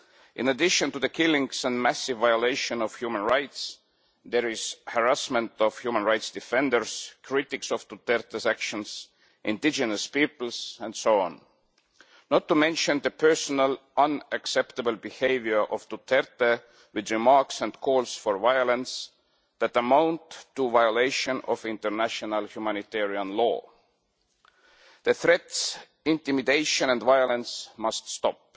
In addition to the killings and massive violation of human rights there is harassment of human rights defenders, critics of Duterte's actions, indigenous peoples and so on, not to mention Duterte's own unacceptable behaviour, with his remarks and calls for violence that amount to violation of international humanitarian law. The threats, intimidation and violence must stop.